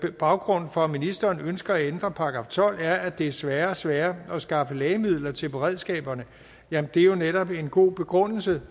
baggrunden for at ministeren ønsker at ændre § tolv er at det er sværere og sværere at skaffe lægemidler til beredskaberne men det er jo netop en god begrundelse